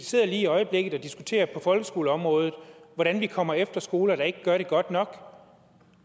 sidder lige i øjeblikket og diskuterer på folkeskoleområdet hvordan vi kommer efter skoler der ikke gør det godt nok